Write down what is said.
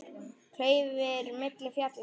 Klaufir milli fjalla sá.